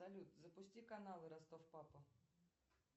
салют запусти каналы ростов папа